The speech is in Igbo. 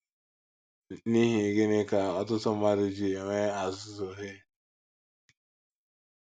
N’ihi Gịnị Ka Ọtụtụ Mmadụ Ji Enwe azụ̀zụ̀ Hay??